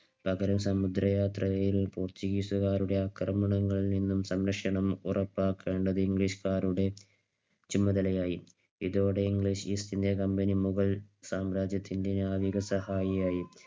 പകരം സമുദ്രയാത്രയിൽ പോർച്ചുഗീസുകാരുടെ അക്രമണങ്ങളിൽനിന്നും സന്ദർശനം ഉറപ്പാക്കേണ്ടത് ഇംഗ്ലീഷുകാരുടെ ചുമതലയായി. ഇതുവരെ English East India Company മുഗൾ സാമ്രാജ്യത്തിന്റെ നാവിക സഹായിയായി.